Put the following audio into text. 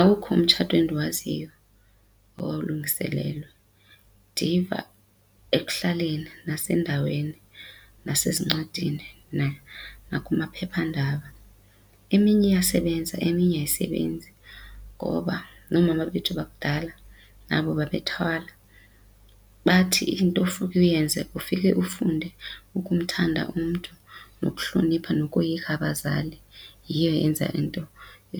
Awukho umtshato endiwaziyo owawulungiselelwe. Ndiyiva ekuhlaleni nasendaweni nasezincwadini nakumaphephandaba. Eminye iyasebenza eminye ayisebenzi ngoba noomama bethu bakudala nabo babethwalwa. Bathi into ufike uyenze ufike ufunde ukumthanda umntu nokuhlonipha nokoyika bazali. Yiyo eyenza into